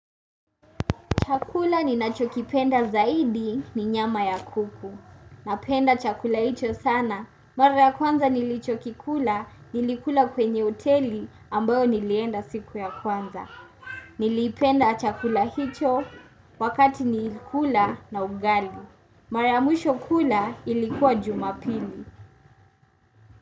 Chakula ninachokipenda zaidi ni nyama ya kuku. Napenda chakula hicho sana. Mara ya kwanza nilichokikula nilikula kwenye hoteli ambayo nilienda siku ya kwanza. Nilipenda chakula hicho wakati nilikula na ugali. Mara ya mwisho kula ilikuwa jumapili.